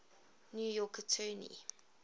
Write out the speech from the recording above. new york attorney